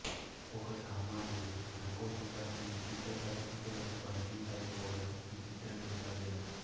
ఒక సామాన్యుడు అనుకోకుండా కొన్ని విచిత్ర పరిస్థితులకు బందీ అయిపోవడం ఈ చిత్ర నేపథ్యం